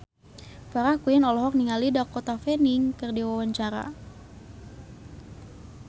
Farah Quinn olohok ningali Dakota Fanning keur diwawancara